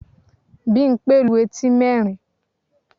Bímpé lu etí nerin